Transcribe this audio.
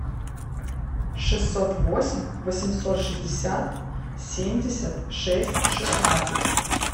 шестьсот восемь восемьсот шестьдесят семьдесят шесть шестнадцать